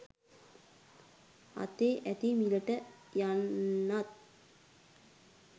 අතේ ඇති මිලට යන්නත්